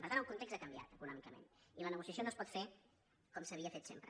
per tant el context ha canviat econòmicament i la negociació no es pot fer com s’havia fet sempre